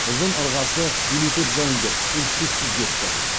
ұзын ырғасы елу төрт жауынгер із түзсіз кетті